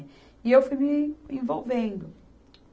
E eu fui me envolvendo.